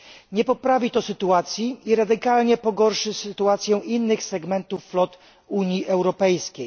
Nie poprawi to sytuacji i radykalnie pogorszy sytuację innych segmentów flot Unii Europejskiej.